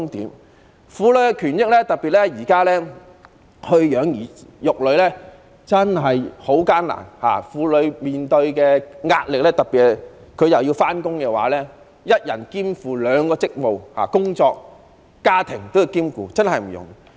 在婦女權益方面，特別是今時今日養兒育女真的很艱難，婦女面對着巨大的壓力，特別是還要上班的婦女，一人兼負兩個職務，同時兼顧工作和家庭確實不容易。